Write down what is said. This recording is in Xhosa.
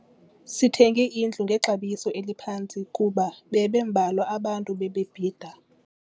Sithenge indlu ngexabiso eliphantsi kuba bebembalwa abantu ebebebhida.